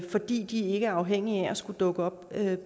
fordi de ikke er afhængige af at skulle dukke op